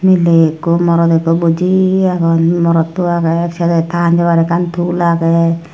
miley ikko morot ikko buji agon morotto agey sele ta hanjabahure ekkan tool agey.